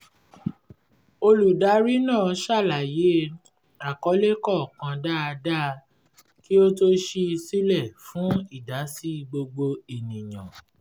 olùdarí náà ṣàlàyé àkọlé kọ̀ọ̀kan dáadáa kí ó tó ṣí i silẹ fún ìdásí gbogbo ènìyàn